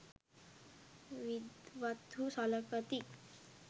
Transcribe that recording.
විද්වත්හු සළකති.